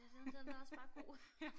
Ja den den er også bare god